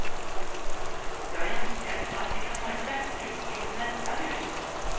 Jag önskar att vi kan ha ett tvättrum i vårt nästa hus.